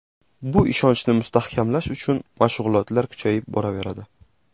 Bu ishonchni mustahkamlash uchun mashg‘ulotlar kuchayib boraveradi.